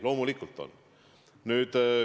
Loomulikult on jätnud.